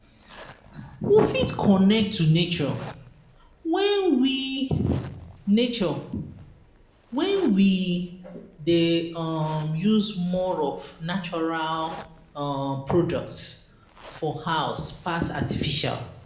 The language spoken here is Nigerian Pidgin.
We fit connect to nature when we nature when we dey um use more of natural um products for house pass artificial